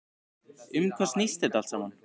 Um hvað snýst þetta allt saman?